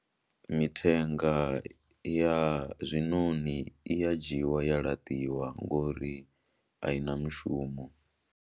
Mithenga ya zwinoni i ya dzhiiwa ya laṱiwa ngori a i na mushumo.